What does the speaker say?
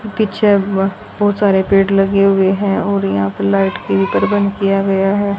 पीछे ब बहोत सारे पेड़ लगे हुए हैं और यहां पे लाइट की प्रबंध किया गया है।